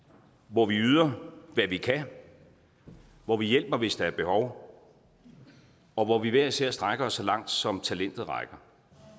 hvor vi yder hvad vi kan hvor vi hjælper hvis der er behov og hvor vi hver især strækker os så langt som talentet rækker